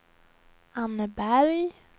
Anneberg